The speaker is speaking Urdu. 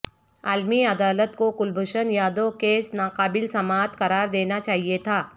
عالمی عدالت کو کلبھوشن یادو کیس ناقابل سماعت قرار دینا چاہیے تھا